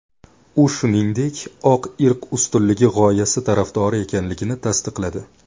U, shuningdek, oq irq ustunligi g‘oyasi tarafdori ekanligini tasdiqladi.